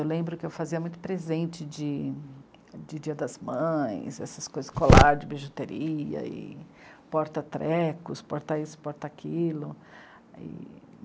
Eu lembro que eu fazia muito presente de... de Dia das Mães, essas coisas, colar de bijuteria e porta-trecos, porta-isso, porta-aquilo.